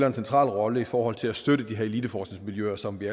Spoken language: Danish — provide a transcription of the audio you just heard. en central rolle i forhold til at støtte de her eliteforskningsmiljøer som vi